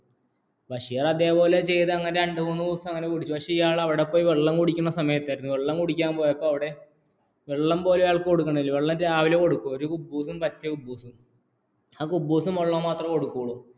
ബഷീര്‍ അതേപോലെ ചെയ്തു അങ്ങനെ രണ്ടു മൂന്ന് ദിവസം കൂടി പക്ഷ ഇയാള്‍ അവിടെ പോയി വെള്ളം കുടിക്കുന്ന സമയത്ത് വെള്ളം കുടിക്കാന്‍ പോയപ്പോള്‍ വെള്ളം പോലും അയാള്‍ക്ക്‌ കൊടുകുന്നില്ല വെള്ളം രാവിലെ കൊടുക്കും ഒരു കുബ്ബൂസും പറ്റിയ ആ കുബ്ബൂസും വെള്ളവും വെള്ളം മാത്രമേ കൊടുക്കുകയുള്ളൂ